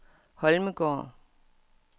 Holmegaard